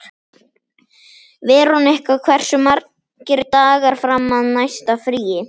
Veronika, hversu margir dagar fram að næsta fríi?